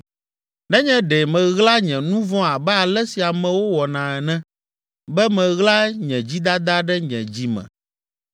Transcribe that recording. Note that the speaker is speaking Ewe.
Nenye ɖe meɣla nye nu vɔ̃ abe ale si amewo wɔna ene, be meɣla nye dzidada ɖe nye dzi me,